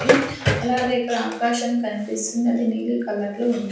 అలాగే ఇక్కడ ఆకాశం కనిపిస్తుంది అది నీలి కలర్ లో ఉం--